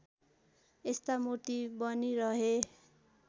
यस्ता मूर्ति बनिरहे